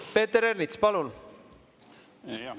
Peeter Ernits, palun!